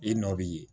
I nɔ bi ye